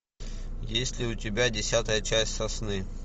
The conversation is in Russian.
есть ли у тебя десятая часть сосны